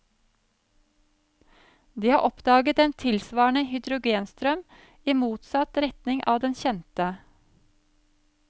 De har oppdaget en tilsvarende hydrogenstrøm i motsatt retning av den kjente.